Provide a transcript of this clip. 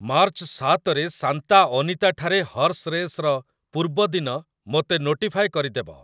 March ସାତରେ Santa ଅନିତାଠାରେ horse ରେସ୍‌ର ପୂର୍ବ ଦିନ ମୋତେ ନୋଟିଫାଏ କରିଦେବ